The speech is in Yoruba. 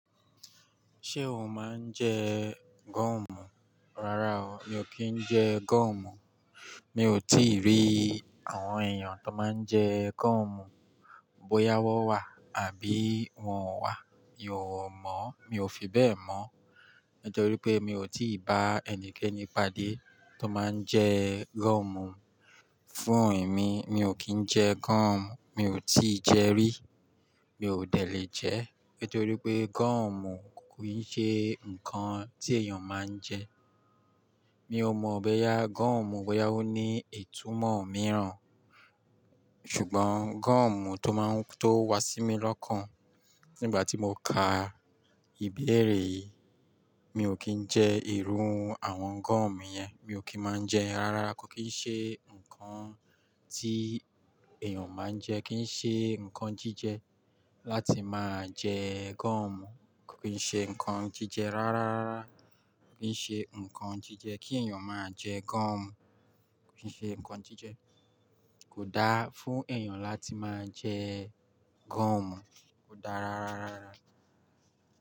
Ṣé o máa ń jẹ gọ́ọ̀mù? Rárá o, mi ò kí ń jẹ gọ́ọ̀mù. Mi ò tìí rí àwọn èèyàn tó máa ń jẹ gọ́ọ̀mù. Bóyá wọ́n wà àbí wọn ò wà, mi ò mọ̀, mi ò fi bẹ́ẹ̀ mọ̀. Nítorí pé mi ò tìí bá ẹnikẹ́ni pàdé tó máa ń jẹ gọ́ọ̀mù. Fún èmi, mi ò kí ń jẹ gọ́ọ̀mù, mi ò tìí jẹ rí. Mi ò dẹ̀ le jẹ́. Nítorí pé gọ́ọ̀mù kò ì ṣe nǹkan tí èèyàn máa ń jẹ. Mi ò mọ̀ bẹ́ yá gọ́ọ̀mù bóyá ó ní ìtumọ̀ mìíràn. Ṣùgbọ́n gọ́ọ̀mù tó máa ń tó wá sí mi lọ́kàn nígbà tí mo ka ìbéèrè yìí, mi ò kí ń jẹ irú àwọn gọ́ọ̀mù yẹn. Mi ò kí máa ń jẹ ẹ́. Rárára, kò kín ṣe nǹkan tí èèyàn máa ń jẹ. Kì í ṣe nǹkan jíjẹ láti máa jẹ gọ́ọ̀mù. Kò kín ṣe nǹkan jíjẹ rárá. Kò kín ṣe nǹkan jíjẹ kí èèyàn máa jẹ gọ́ọ̀mù. Kò kín ṣe nǹkan jíjẹ. Kò dáa fún èèyàn láti máa jẹ gọ́ọ̀mù. Kò dáa rárá.